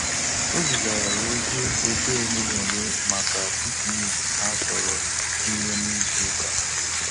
O zigara ya ozi ebe ole na ole maka piknik ha chọrọ inwe na ịzụ uka